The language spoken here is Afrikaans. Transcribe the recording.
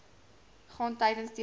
gaan tydens diarree